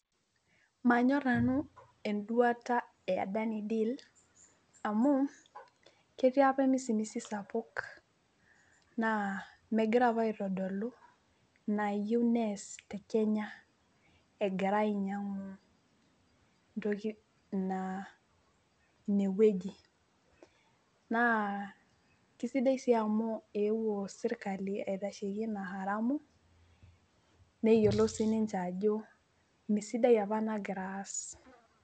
Manyor nanu enduata eAdani ideal amu ketii apa emisimisi sapuk naa megira apa aitodolu inaayieu nees tekenya egira ainyiangu ntoki, ine wueji naa kisidai sii amu eewuo sirkali aitasheyie ina haramu neyiolou sinche ajo misidai apa inaagira aas.